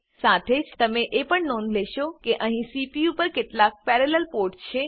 સાથે જ તમે એ પણ નોંધ લેશો કે અહીં સીપીયુ પર કેટલાક પેરેલલ પોર્ટ છે